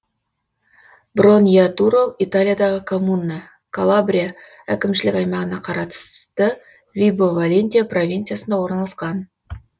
броньятуро италиядағы коммуна калабрия әкімшілік аймағына қарасты вибо валентия провинциясында орналасқан